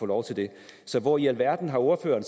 lov til det så hvor i alverden har ordføreren